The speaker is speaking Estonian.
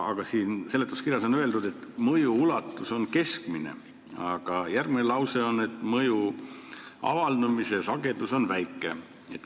Aga siin seletuskirjas on öeldud, et mõju ulatus on keskmine, aga järgmises lauses on, et mõju avaldumise sagedus on väike.